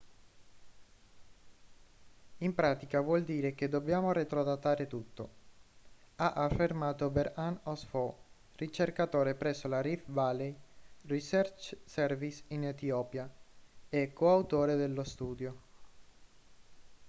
in pratica vuol dire che dobbiamo retrodatare tutto ha affermato berhane asfaw ricercatore presso il rift valley research service in etiopia e co-autore dello studio